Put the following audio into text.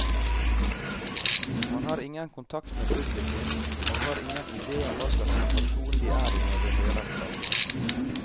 Man har ingen kontakt med publikum, og har ingen idé om hva slags situasjon de er i når de hører platen.